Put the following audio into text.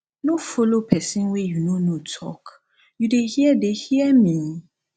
no follow pesin wey you no know talk you dey hear dey hear me